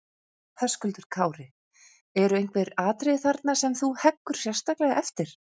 Höskuldur Kári: Eru einhver atriði þarna sem þú heggur sérstaklega eftir?